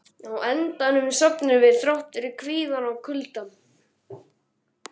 Á endanum sofnuðum við, þrátt fyrir kvíðann og kuldann.